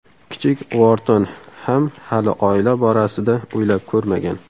Kichik Uorton ham hali oila borasida o‘ylab ko‘rmagan.